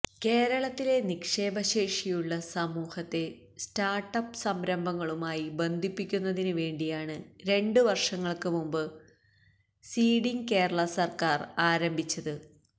കേരളത്തിലെ നിക്ഷേപശേഷിയുള്ള സമൂഹത്തെ സ്റ്റാർട്ടപ്പ് സംരംഭങ്ങളുമായി ബന്ധിപ്പിക്കുന്നതിനു വേണ്ടിയാണ് രണ്ട് വർഷങ്ങൾക്ക് മുമ്പ് സീഡിംഗ് കേരള സർക്കാർ ആരംഭിച്ചത്